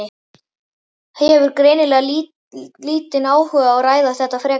Hefur greinilega lítinn áhuga á að ræða þetta frekar.